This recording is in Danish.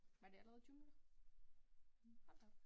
Var det allerede 20 minutter? Hold da op